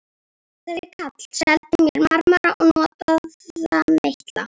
Þessi karl seldi mér marmara og notaða meitla.